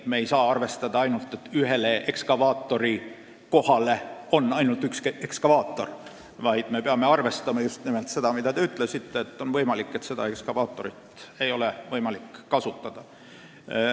Me ei saa arvestada ainult nii, et ühele ekskavaatorikohale on ette nähtud ainult üks ekskavaator, vaid me peame arvestama just nimelt seda, mida te ütlesite, sest on võimalik, et seda ühte ekskavaatorit ei ole võimalik kasutada.